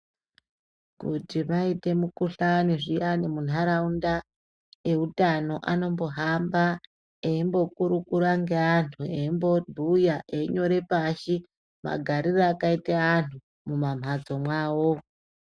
Kuti paite mukuhlani zviyani munharaunda, eutano anombohamba eimbokurukura ngeantu, eimbobhuya, einyora pashi magariro akaita antu mumamhatso mwavo.